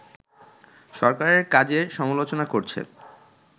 সরকারের কাজের সমালোচনা করছে